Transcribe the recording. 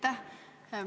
Aitäh!